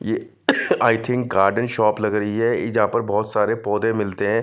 ये I think garden shop लग रही है जहां पर बहोत सारे पौधे मिलते हैं।